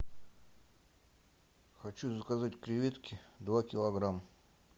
хочу заказать креветки два килограмма